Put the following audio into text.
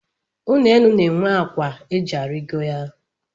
Ụlọenu na-enwe akwa e ji arigo ya